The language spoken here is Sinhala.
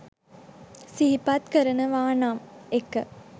සිහිපත් කරනවා නම් 1.